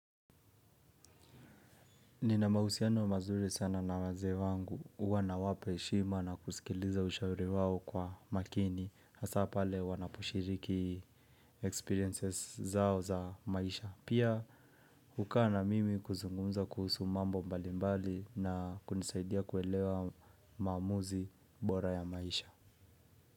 Ninamahusiano mazuri sana na wazee wangu huwa nawapa heshima na kusikiliza ushauri wao kwa makini hasaa pale wanaposhiriki experiences zao za maisha. Pia hukaa na mimi kuzungumza kuhusu mambo mbali mbali na kunisaidia kuelewa maamuzi bora ya maisha.